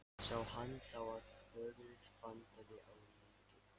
Sá hann þá að höfuðið vantaði á líkið.